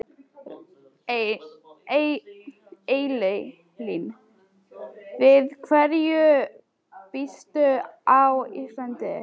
Elín: Við hverju býstu á Íslandi?